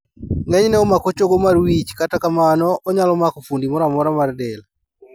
Ng'enyne omako chogo mar wich kata kamano onyalo mako fuondi moramora mar del